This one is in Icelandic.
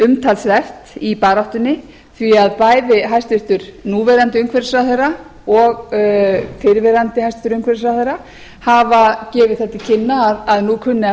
umtalsvert í baráttunni því að bæði hæstvirtan núv umhverfisráðherra og fyrrverandi hæstvirtur umhverfisráðherra hafa gefið það til kynna að nú kunni að